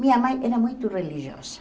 Minha mãe era muito religiosa.